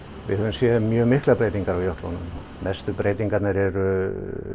við höfum séð mjög miklar breytingar á jöklunum mestu breytingarnar eru